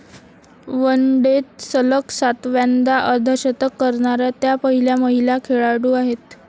वनडेत सलग सातव्यांदा अर्धशतक करणाऱ्या त्या पहिल्या महिला खेळाडू आहेत.